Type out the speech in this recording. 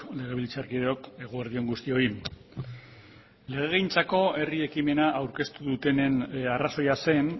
legebiltzarkideok eguerdi on guztioi legegintzako herri ekimena aurkeztu dutenen arrazoia zen